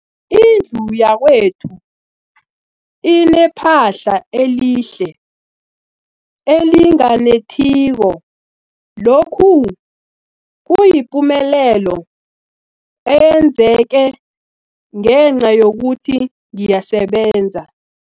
Indlu yakwethu inephahla elihle, elinganetheliko, lokhu kuyipumelelo eyenzeke ngenca yokuthi ngiyasebenza.